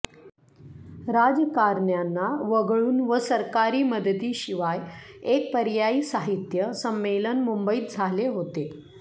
राजकारण्यांना वगळून व सरकारी मदतीशिवाय एक पर्यायी साहित्य संमेलन मुंबईत झाले होते